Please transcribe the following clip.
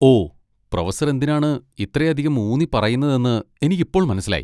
ഓ, professor എന്തിനാണ് ഇത്രയധികം ഊന്നിപ്പറയുന്നതെന്ന് എനിക്ക് ഇപ്പോൾ മനസ്സിലായി.